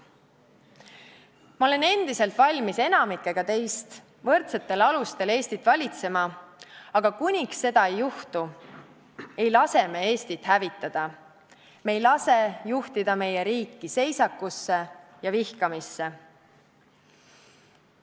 Ma olen endiselt valmis enamikuga teist võrdsetel alustel Eestit valitsema, aga kuniks seda ei juhtu, ei lase me Eestit hävitada, me ei lase juhtida meie riiki seisakusse ja vihkamisse.